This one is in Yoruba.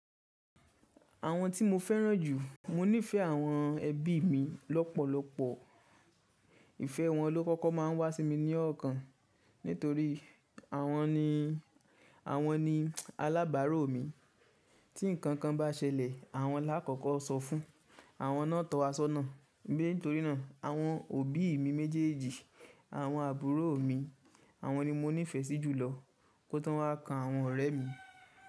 Àwọn tí mo fẹ́ràn jù, mo nífẹ̀ẹ́ àwọn ẹbí mi lọ́pọ̀lọpọ̀, ìfẹ́ wọn ló kọ́kọ́ má a ń wá sí mi ní ọ̀ọ́kàn nítorí àwọn ni, àwọn ni alábàárò mi, tí nǹkan kan bá ṣẹlẹ̀ àwọn là á kọ́kọ́ sọ fún, àwọn náà tọ́ wa sọ́nà, bí nítorínà àwọn òbí mi méjèèjì, àwọn àbúrò mi, àwọn ni mo nífẹ̀ẹ́ sí jùlọ, kó tó wá ká àwọn ọ̀rẹ́ mi.